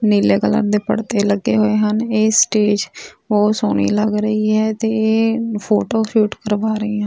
ਨੀਲੇ ਕਲਰ ਦੇ ਪਰਦੇ ਲੱਗੇ ਹੋਏ ਹਨ ਇਹ ਸਟੇਜ ਬਹੁਤ ਸੋਹਣੀ ਲੱਗ ਰਹੀ ਹੈ ਤੇ ਫੋਟੋ ਸ਼ੂਟ ਕਰਵਾ ਰਹੀ ਹਨ।